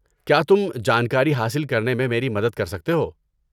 کیا تم جانکاری حاصل کرنے میں میری مدد کر سکتے ہو؟